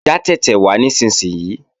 Já tẹ̀tẹ̀ wá nísinsìnyí!